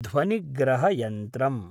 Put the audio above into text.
ध्वनिग्रहयन्त्रम्